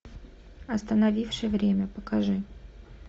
остановивший время покажи